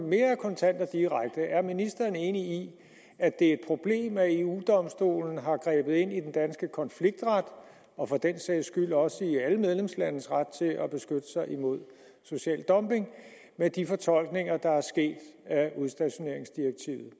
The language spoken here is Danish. mere kontant og direkte er ministeren enig i at det er et problem at eu domstolen har grebet ind i den danske konfliktret og for den sags skyld også i alle medlemslandes ret til at beskytte sig imod social dumping med de fortolkninger af udstationeringsdirektivet